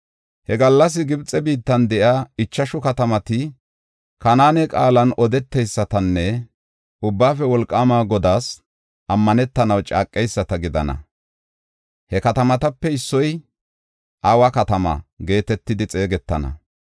He gallas Gibxe biittan de7iya ichashu katamati Kanaane qaalan odeteysatanne Ubbaafe Wolqaama Godaas ammanetanaw caaqeyisata gidana. He katamatape issoy, “Awa Katama” geetetidi xeegetana.